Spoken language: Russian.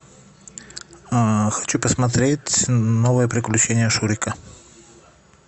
хочу посмотреть новые приключения шурика